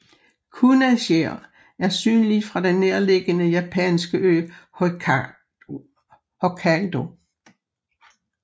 Kunasjir er synlig fra den nærliggende japanske ø Hokkaido